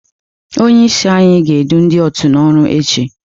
Onye isi anyị ga-edu ndị òtù n'ọrụ echi.